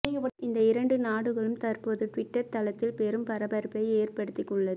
இந்த இரண்டு நாடுகளும் தற்போது டுவிட்டர் தளத்தில் பெரும் பரபரப்பை ஏற்படுத்தி உள்ளது